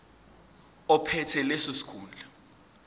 ophethe leso sikhundla